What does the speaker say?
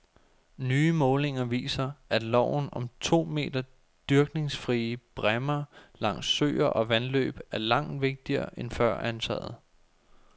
Nye målinger viser, at loven om to meter dyrkningsfrie bræmmer langs søer og vandløb er langt vigtigere end før antaget.